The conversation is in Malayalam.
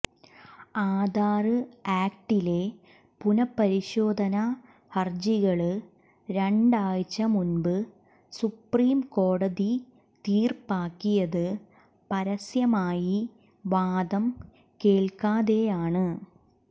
ആധാര് ആക്ടിലെ പുനഃപരിശോധനാ ഹരജികള് രണ്ടാഴ്ച മുമ്പ് സുപ്രീം കോടതി തീര്പ്പാക്കിയത് പരസ്യമായി വാദം കേള്ക്കാതെയാണ്